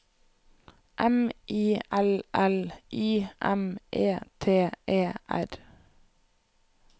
M I L L I M E T E R